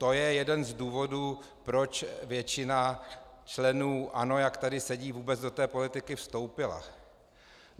To je jeden z důvodů, proč většina členů ANO, jak tady sedí, vůbec do té politiky vstoupila.